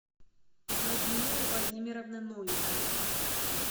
людмилы владимировны новиковой